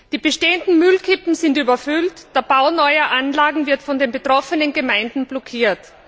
Die bestehenden Müllkippen sind überfüllt, der Bau neuer Anlagen wird von den betroffenen Gemeinden blockiert.